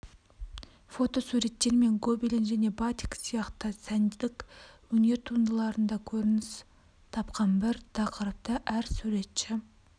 фотосуреттер мен гобелен және батик сияқты сәндік өнер туындыларында көрініс тапқан бір тақырыпты әр суретші